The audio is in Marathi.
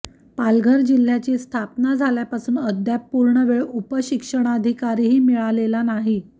पालघर जिल्ह्याची स्थापना झाल्यापासून अद्याप पूर्णवेळ उपशिक्षणाधिकारीही मिळालेला नाही